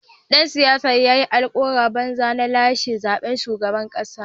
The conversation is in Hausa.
Dan siyasar ya yi alkawuran banza na lashe zaben shugaban kasa.